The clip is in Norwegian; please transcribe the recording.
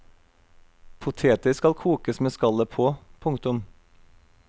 Poteter skal kokes med skallet på. punktum